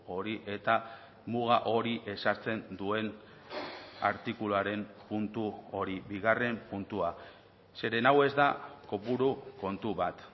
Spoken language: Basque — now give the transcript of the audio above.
hori eta muga hori ezartzen duen artikuluaren puntu hori bigarren puntua zeren hau ez da kopuru kontu bat